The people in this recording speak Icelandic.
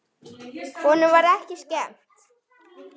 Honum var ekki skemmt.